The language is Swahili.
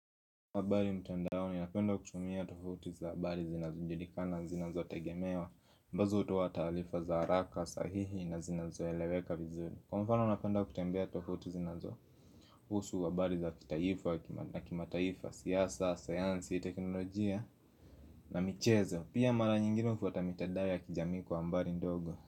Habari mtandaoni napenda kutumia tovuti za habari zinazojulikana zinazotegemewa ambazo hutoa taarifa za haraka sahihi na zinazoeleweka vizuri Kwa mfano napenda kutembea tovuti zinazo husu habari za kitaifa na kimataifa, siasa, sayansi, teknolojia na michezo Pia mara nyingine hufuata mitandao ya kijamii kwa habari ndogo.